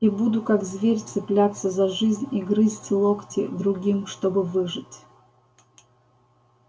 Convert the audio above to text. и буду как зверь цепляться за жизнь и грызть локти другим чтобы выжить